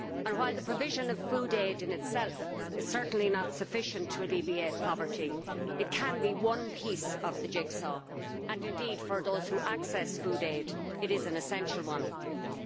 While the provision of food aid itself is certainly not sufficient to alleviate poverty, it can be one piece of the jigsaw, and indeed for those who receive food aid it is an essential piece.